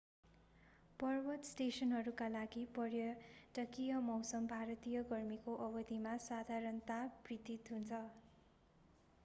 पर्वत स्टेसनहरूका लागि पर्यटकीय मौसम भारतीय गर्मीको अवधिमा साधारणतया वृद्धि हुन्छ